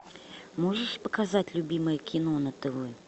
можешь показать любимое кино на тв